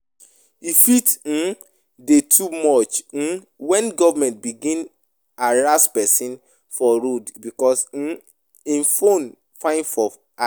E fit um dey too much um when government begin harass person for road because um im phone fine for eye